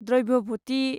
द्रव्य'भ'ति